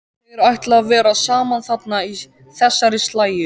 Þeir ætla að vera saman þarna í þessari slægju.